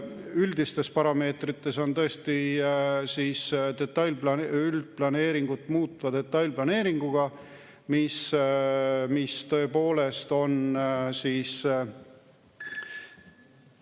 Üldistes parameetrites on tõesti üldplaneeringut muutva detailplaneeringuga, mis tõepoolest on siis ...